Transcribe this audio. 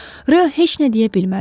Rö heç nə deyə bilmədi.